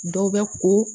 Dɔw bɛ ko